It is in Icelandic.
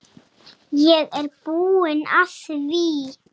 Ég er búinn að því.